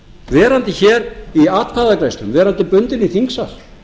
verandi hér í atkvæðagreiðslum verandi bundin í þingsal